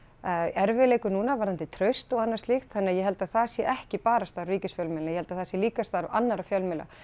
erfiðleikum núna varðandi traust og annað slíkt þannig að ég held að það sé ekki bara starf ríkisfjölmiðla ég held að það sé líka starf annarra fjölmiðla